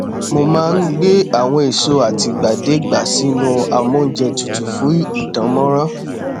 mo má n gbé àwọn èso àtìgbàdégbà sínú amóúnjẹ tutù fún ìdánmọrán